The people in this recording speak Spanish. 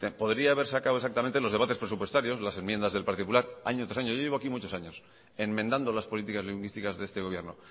podría haber sacado exactamente los debates presupuestarios las enmiendas del partido popular año tras año yo llevo aquí muchos años enmendando las políticas lingüísticas de este gobierno